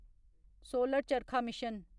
solar charkha mission